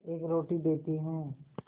एक रोटी देती हूँ